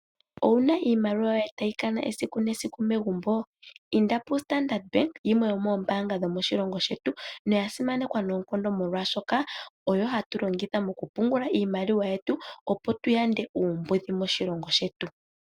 Owu na iimaliwa yoye tayi kana esiku nesiku megumbo? Inda pu Standard bank yimwe yomoombanga dhoshilongo shetu, noya simanekwa noonkondo molwaashoka oyo hatu longitha mokupungula iimaliwa yetu opo tu yande uumbudhi moshilongo shetu.